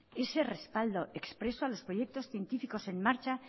ese respaldo expreso a los proyectos científicos en marcha